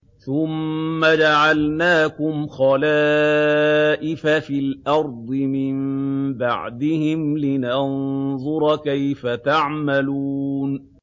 ثُمَّ جَعَلْنَاكُمْ خَلَائِفَ فِي الْأَرْضِ مِن بَعْدِهِمْ لِنَنظُرَ كَيْفَ تَعْمَلُونَ